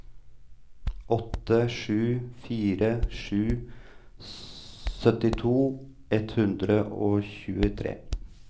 åtte sju fire sju syttito ett hundre og tjuetre